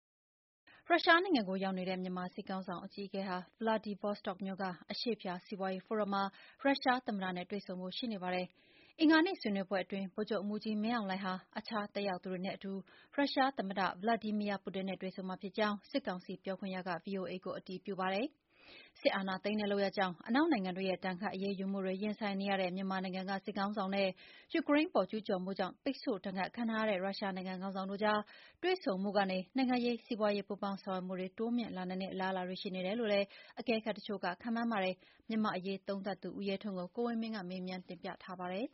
ရုရှားနိုင်ငံမှာ ရောက်နေတဲ့ မြန်မာစစ်ကောင်စီ အကြီးအကဲဟာ ဗလာဒီဗော့စတော့မြို့ က အရှေ့ဖျား စီးပွားရေးဖိုရမ်မှာ ရုရှားသမ္မတနဲ့ တွေ့ဆုံဖို့ ရှိနေပါတယ်။ဗုဒ္ဓဟူးနေ့ ဆွေးနွေးပွဲအတွင်း ဗိုလ်ချုပ်မှူးကြီး မင်းအောင်လှိုင်ဟာ တခြားတက်ရောက်သူတွေနဲ့အတူ ရုရှားသမ္မတ Vladimir Putin နဲ့ တွေ့ဆုံမှာဖြစ်ကြောင်း စစ်ကောင်စီ ပြောခွင့်ရက ဗွီအိုအေကို အတည်ပြုပါတယ်။ စစ်အာဏာသိမ်းတဲ့ လုပ်ရပ်ကြောင့် အနောက်နိုင်ငံတွေရဲ့ ဒဏ်ခတ် အရေးယူမှုတွေ ရင်ဆိုင်နေရတဲ့ မြန်မာနိုင်ငံက စစ်ခေါင်းဆောင်နဲ့ ယူကရိန်းအပေါ် ကျုးကျော်မှုကြောင့် ပိတ်ဆို့ဒဏ်ခတ်ခံထားရတဲ့ ရုရှားနိုင်ငံက ခေါင်းဆောင်တို့ကြား တွေ့ဆုံမှုကနေ နိုင်ငံရေး၊ စီးပွားရေး ပူးပေါင်းဆောင်ရွက်မှုတွေ တိုးမြှင့်လာနိုင်တဲ့ အလားအလာတွေ ရှိနေတယ်လို့လည်း အကဲခတ်တချို့က ခန့်မှန်းကြပါတယ်။ မြန်မာ့အရေးသုံးသပ်သူ ဦးရဲထွန်းကို ကိုဝင်းမင်း ကမေးမြန်းတင်ပြထားပါတယ်